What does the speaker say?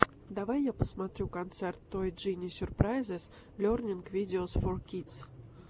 давай я посмотрю концерт той джини сюрпрайзес лернинг видеос фор кидс